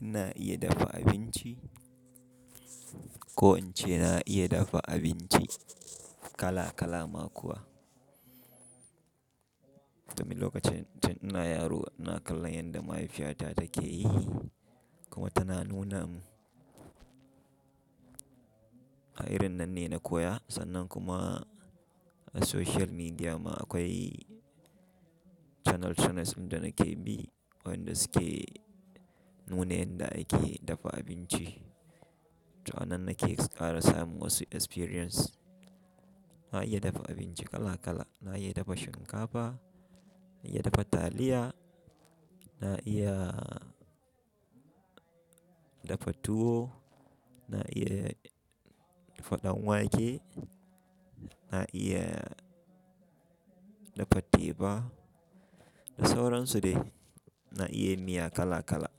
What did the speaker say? ina iya dafa abinci, ko in ce na iya dafa abinci kala kala ma kuwa. Domin lokacin tin ina yaro ina kallon yanda mahaifiyata take yi kuma tana nuna mun. A irin nan ne na koya sannan kuma a social media ma akwai channel channels ɗin da nake bi wanda su ke nuna yanda ake dafa abinci. To nan nake ƙara samu wasu experience. Na iya dafa abinci kala kala. Na iya dafa shinkafa, na iya dafa taliya, na iya dafa tuwo, na iya dafa ɗan wake, na iya dafa teba, da sauran su dai. Na iya miya kala kala.